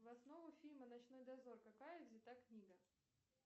в основу фильма ночной дозор какая взята книга